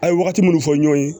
A' ye wagati mun fɔ ɲɔn ye